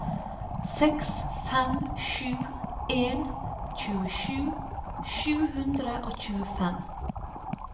seks fem sju en tjuesju sju hundre og tjuefem